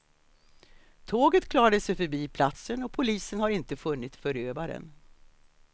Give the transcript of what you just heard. Tåget klarade sig förbi platsen och polisen har inte funnit förövaren.